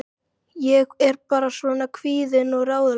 Ég er bara svona kvíðin og ráðalaus.